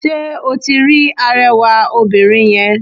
Sé o ti rí arewà obìnrin yen?